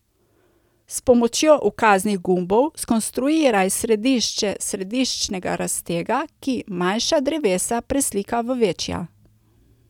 S pomočjo ukaznih gumbov skonstruiraj središče središčnega raztega, ki manjša drevesa preslika v večja.